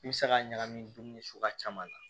I bɛ se k'a ɲagami dumuni suguya caman na